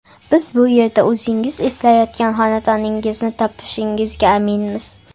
Biz bu yerda o‘zingiz izlayotgan xonadoningizni topishingizga aminmiz.